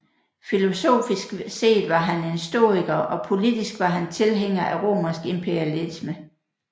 Filosofisk set var han en stoiker og politisk var han tilhænger af romersk imperialisme